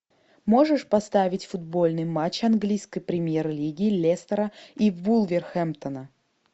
можешь поставить футбольный матч английской премьер лиги лестера и вулверхэмптона